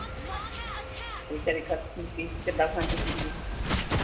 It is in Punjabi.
ਬੇਚਾਰੀ ਕਿੱਦਾਂ ਖਾਂਦੀ ਪੀਂਦੀ ਆ।